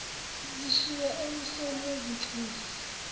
zishiywe emuseni wezinhlangano